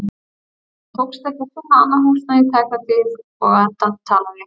Mér tókst ekki að finna annað húsnæði í tæka tíð og á endanum talaði